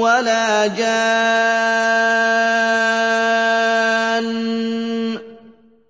وَلَا جَانٌّ